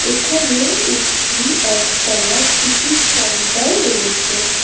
এখানে একটি একতলা টিকিট কাউন্টার রয়েছে।